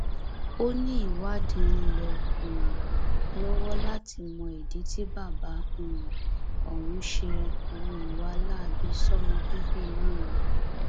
ó ní ìwádìí ń lọ um lọwọ láti mọ ìdí tí bàbá um ọhún ṣe hu ìwà láabi sọmọ bíbí inú rẹ